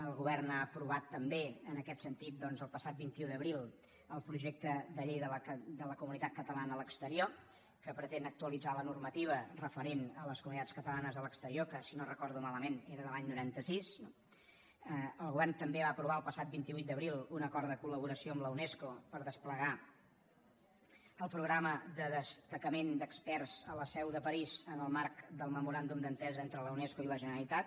el govern ha aprovat també en aquest sentit doncs el passat vint un d’abril el projecte de llei de la comunitat catalana a l’exterior que pretén actualitzar la normativa referent a les comunitats catalanes a l’exterior que si no ho recordo malament era de l’any noranta sis no el govern també va aprovar el passat vint vuit d’abril un acord de col·laboració amb la unesco per desplegar el programa de destacament d’experts a la seu de parís en el marc del memoràndum d’entesa entre la unesco i la generalitat